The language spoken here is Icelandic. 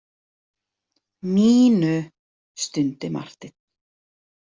Mínu, stundi Marteinn.